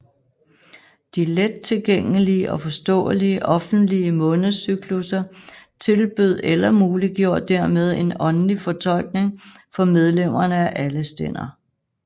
De let tilgængelige og forståelige offentlige månedscyklusser tilbød eller muliggjorde dermed en åndelig fortolkning for medlemmerne af alle stænder